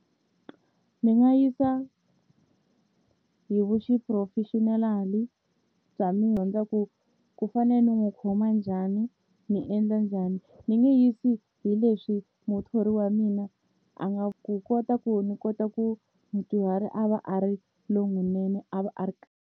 Ni nga yisa hi vu xiphurofexinali bya mi ku ku fane ni n'wi khoma njhani ni endla njhani ni nge yisi hi leswi muthori wa mina a nga ku kota ku ni kota ku mudyuhari a va a ri lowunene a va a ri .